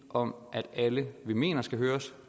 om at alle vi mener skal høres